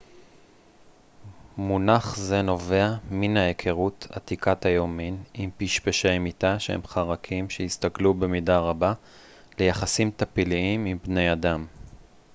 מונח זה נובע מן ההיכרות עתיקת היומין עם פשפשי מיטה שהם חרקים שהסתגלו במידה רבה ליחסים טפיליים עם בני אדם